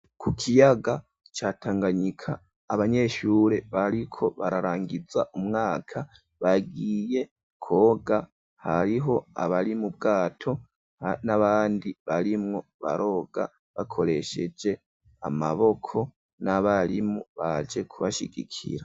Ku kiyaga ca Tanganyika abanyeshure bariko bararangiza umwaka bagiye kwoga hariho abari mu bwato n'abandi barimwo baroga bakoresheje amaboko n'abarimu baje kubashigikira.